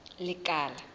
lekala